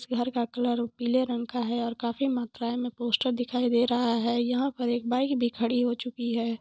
इस घर का कलर पीले रंग का है और काफी मात्रायें में पोस्टर दिखाई दे रहा है यहाॅं पर एक बाईक भी खड़ी हो चुकी है।